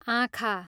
आँखा